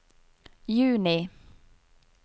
juni